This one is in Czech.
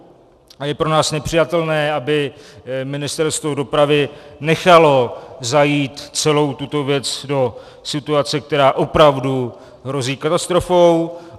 A je pro nás nepřijatelné, aby Ministerstvo dopravy nechalo zajít celou tuto věc do situace, která opravdu hrozí katastrofou.